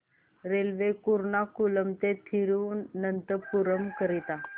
railway Ernakulam ते थिरुवनंतपुरम करीता